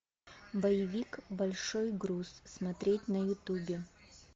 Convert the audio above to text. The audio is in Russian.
боевик большой груз смотреть на ютубе